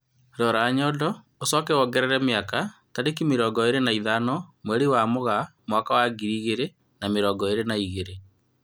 Rora nyondo ũcoke wongerere mĩaka, tarĩki mĩrongo ĩrĩ na ithano mwerĩ wa Mũgaa mwaka wa ngiri igĩrĩ na mĩrongo irĩ na igĩrĩ